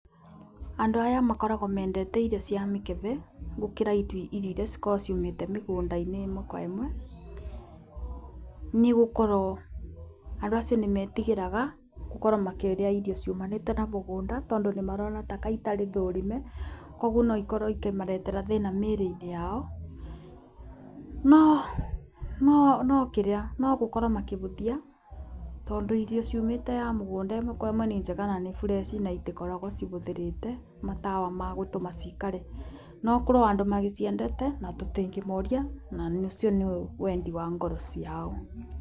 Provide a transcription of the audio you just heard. Andũ aya makoragwo mendete irio cia mĩkebe gũkĩra iria cikoragwo ciumĩte mĩgũnda-inĩ ĩmwe kwa ĩmwe, nĩ gũkorwo andũ acio nĩmetigĩraga gũkorwo makĩrĩa irio ciumanĩte na mũgũnda tondũ nĩmarona ta ka itari thũrime kogwo no ikorwo ikĩmarehera thĩ-inĩ wa mĩĩrĩ-inĩ yao. No gũkorwo makĩhũthia tondũ irio ciumĩte ya mũgũnda ĩmwe kwa ĩmwe ni njega na ni freshi, na itikoragwo cihũthĩrĩte matawa ma gũtũma cikare. No kurĩ o andũ magĩciendete na tũtingĩmoria na ũcio nĩ wendi wa ngoro ciao.